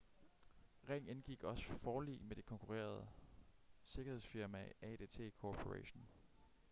ring indgik også forlig med det konkurrerende sikkerhedsfirma adt corporation